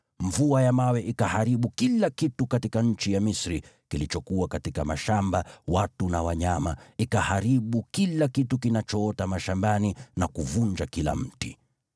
Mvua ya mawe ikaharibu kila kitu katika nchi ya Misri kilichokuwa katika mashamba, watu na wanyama, ikaharibu kila kitu kinachoota mashambani na kuvunja kila mti.